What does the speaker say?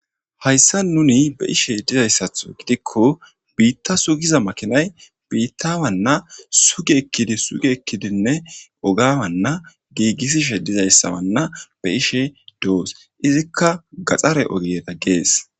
hayssa nuni be'ishe dizayssatho gidikko biitta sugiza makinay biitta wanna suge ekkidi suge ekkidinne ogawanna giigissishe dizayssawanna be ishe doos izikka gaxxare ogieda gees